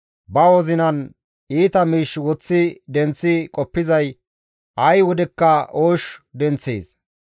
ba wozinan iita miish woththi denththi qoppizay ay wodekka oosh denththees.